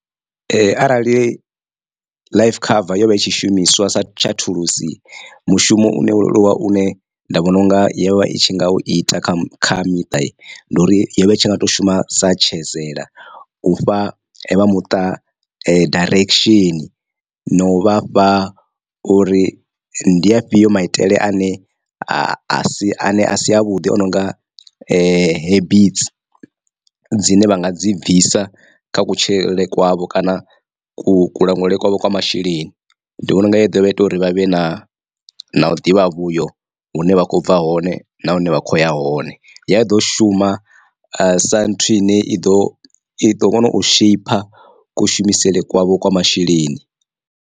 Ee arali life cover yo vha i tshi shumiswa sa tsha thulusi mushumo une wo leluwa u ne nda vhona unga yo vha i tshi nga u ita kha kha miṱa ndi uri yo vha itshi nga to shuma sa tshezele u fha vha muṱa direction na u vhafha uri ndi afhio maitele ane a si ane a si avhuḓi ononga habits dzine vha nga dzi bvisa kha kutshilele kwavho. Kana ku ku langulele kwavho kwa masheleni ndi vhona unga ya dovha ya ita uri vha vhe na na u ḓivha vhuyo hune vha kho bva hone na hune vha khoya hone ya i ḓo shuma sa nthu ine i ḓo i ḓo kona u shaper kushumisele kwavho kwa masheleni.